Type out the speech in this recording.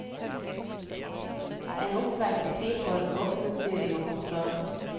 En oppvekst fri for voksenstyring og kontroll.